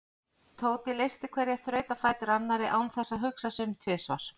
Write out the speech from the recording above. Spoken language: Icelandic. Tóti leysti hverja þrautina á fætur annarri án þess að hugsa sig um tvisvar.